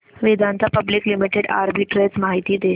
Vedanta public limited arbitrage माहिती दे